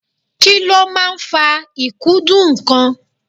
Kí ló máa ń fa ikudun nnkan?